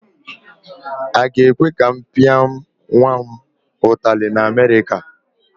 Aga ekwe ka m pịa nwa m ụtali na Amerịka?